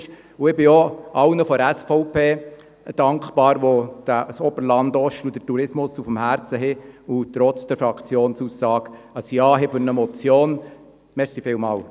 Ich bin auch allen SVP-Mitgliedern dankbar, denen das Oberland Ost und der Tourismus am Herzen liegt, und die trotz der Fraktionsaussage eine Motion bejahen.